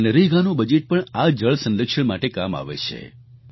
મનરેગાનું budget પણ આ જળ સંરક્ષણ માટે કામ આવે છે